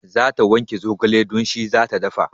Za ta wanke zogale don shi zata dafa